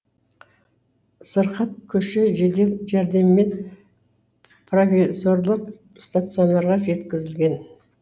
сырқат көше жедел жәрдеммен провизорлық стационарға жеткізілген